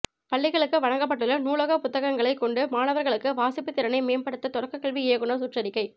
பள்ளிகளுக்கு வழங்கப்பட்டுள்ள நூலக புத்தகங்களைக் கொண்டு மாணவர்களுக்கு வாசிப்பு திறனை மேம்படுத்த தொடக்கக்கல்வி இயக்குனர் சுற்றறிக்கை